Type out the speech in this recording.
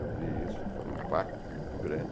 Eu vi isso e foi um impacto muito grande.